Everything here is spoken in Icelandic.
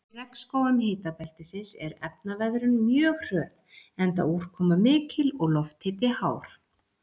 Í regnskógum hitabeltisins er efnaveðrun mjög hröð enda úrkoma mikil og lofthiti hár.